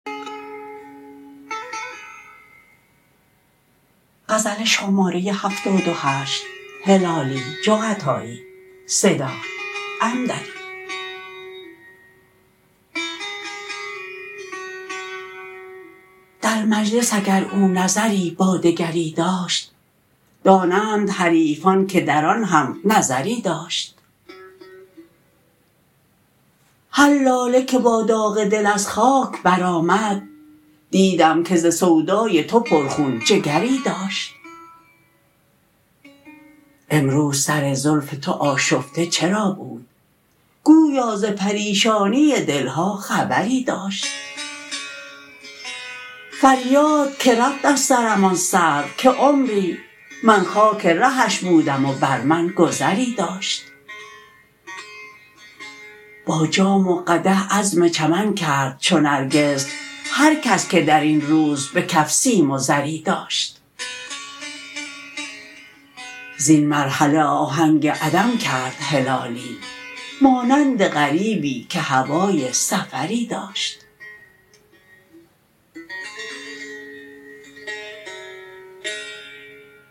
در مجلس اگر او نظری با دگری داشت دانند حریفان که در آن هم نظری داشت هر لاله که با داغ دل از خاک برآمد دیدم که ز سودای تو پر خون جگری داشت امروز سر زلف تو آشفته چرا بود گویا ز پریشانی دلها خبری داشت فریاد که رفت از سرم آن سرو که عمری من خاک رهش بودم و بر من گذری داشت با جام و قدح عزم چمن کرد چو نرگس هر کس که درین روز بکف سیم و زری داشت زین مرحله آهنگ عدم کرد هلالی مانند غریبی که هوای سفری داشت